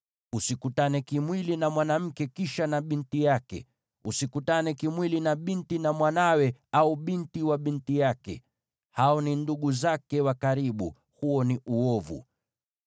“ ‘Usikutane kimwili na mwanamke kisha na binti yake. Usikutane kimwili na binti wa mwanawe au binti wa binti yake; hao ni ndugu zake wa karibu. Huo ni uovu.